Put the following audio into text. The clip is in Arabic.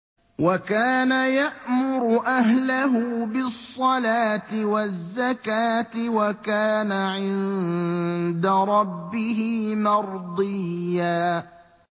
وَكَانَ يَأْمُرُ أَهْلَهُ بِالصَّلَاةِ وَالزَّكَاةِ وَكَانَ عِندَ رَبِّهِ مَرْضِيًّا